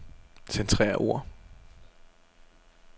Centrer ord.